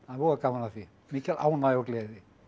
voða gaman af því mikil ánægja og gleði